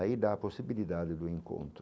Aí dá a possibilidade do encontro.